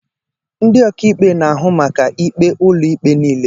Ndị ọkaikpe na-ahụ maka ikpe ụlọikpe niile.